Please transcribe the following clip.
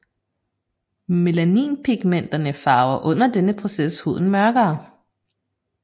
Melaninpigmenterne farver under denne proces huden mørkere